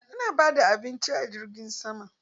Ana bada abinci a jirgin sama?